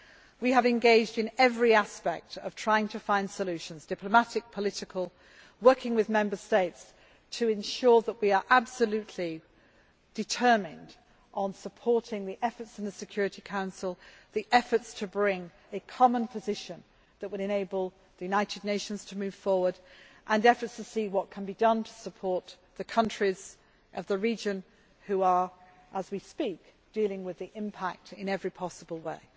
we can. We have engaged in every aspect of trying to find solutions diplomatic, political working with Member States to ensure that we are absolutely determined in supporting the efforts of the Security Council, the efforts to bring a common position that will enable the United Nations to move forward and efforts to see what can be done to support the countries of the region, which are, as we speak, dealing with the impact in every possible